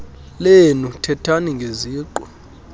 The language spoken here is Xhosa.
lenu thethani ngeziqu